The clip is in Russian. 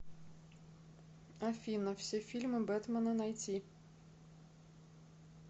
афина все фильмы бетмена найти